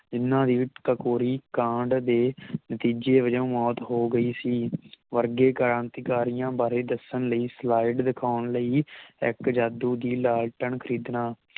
ਇਹਨਾਂ ਦੀ ਕਕੋਰੀ ਕਾਂਡ ਦੇ ਨਤੀਜੇ ਵਜੋਂ ਮੌਤ ਹੋਗਈ ਸੀ ਵਰਗੇ ਕ੍ਰਾਂਤੀਕਾਰੀਆਂ ਬਾਰੇ ਦੱਸਣ ਲਈ ਸਲਾਈਡ ਦਿਖਾਉਣ ਲਈ ਇਕ ਜਾਦੂ ਦੀ ਲਾਂਟੇਰਨ ਖਰੀਦਣਾ